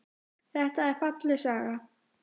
Þetta er falleg saga.